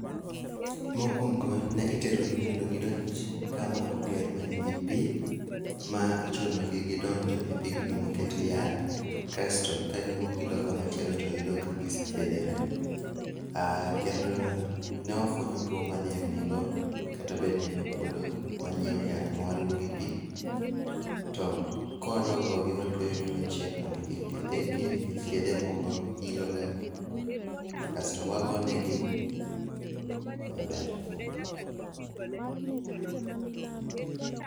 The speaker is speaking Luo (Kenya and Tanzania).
mokwongo ne itero gi mondo gidonj kama oger manigi gi pii maichun gi gidonjo e pigno mokete e yath kasto ka giwuok gi loka machielo to yudo ka gisethiedhore kendo nofwenyo tuo madhiang nigo kata bed ni en okuodo, wanyiew yath mawariwo gi pii to kawadwa gogi watueyo gi machiek mondo kik githeki nikech yedhe moko ilo ga kasto wagone gii maber